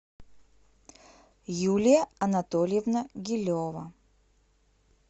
юлия анатольевна гилева